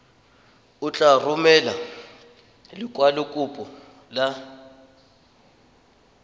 o tla romela lekwalokopo la